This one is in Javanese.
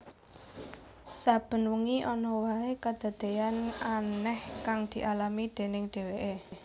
Saben wengi ana wae kadadeyan aneh kang dialami déning dheweke